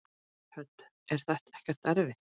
Hödd: Er þetta ekkert erfitt?